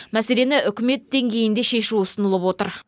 мәселені үкімет деңгейінде шешу ұсынылып отыр